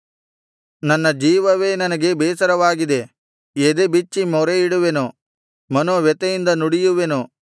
ನನ್ನ ಜೀವವೇ ನನಗೆ ಬೇಸರವಾಗಿದೆ ಎದೆಬಿಚ್ಚಿ ಮೊರೆಯಿಡುವೆನು ಮನೋವ್ಯಥೆಯಿಂದ ನುಡಿಯುವೆನು